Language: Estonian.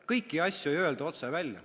Kõiki asju ei öelda otse välja.